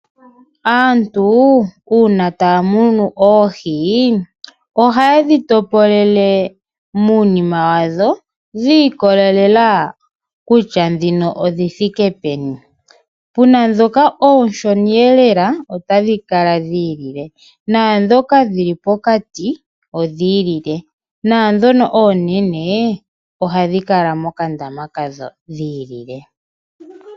Aantu una tamunu oohi oha dhi topolele munima wadho dhikolelela kutya dhino odhithike peni, puna dhoka oshoniyelela otadhi kala dhilile nadhoka dhili pokati odhilile nadhono onene oha dhi kala dhili mokandama kadho dhilile.